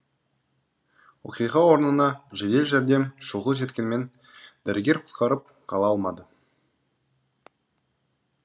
оқиға орнына жедел жәрдем шұғыл жеткенмен дәрігер құтқарып қала алмады